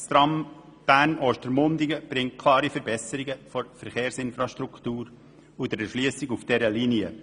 Das Tram Bern–Ostermundigen bringt eine klare Verbesserung der Verkehrsinfrastruktur sowie der Erschliessung durch diese Linie.